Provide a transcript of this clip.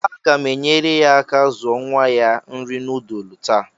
Aga m enyere ya aka zuo nwa ya nri nudulu taa